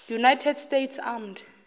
united states armed